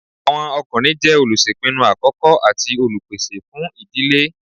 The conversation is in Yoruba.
Àwọn ọkùnrin jẹ́ olùṣèpinu àkọ́kọ́ àti Olùpèsè fún ìdílé